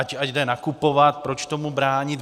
Ať jde nakupovat, proč tomu bránit.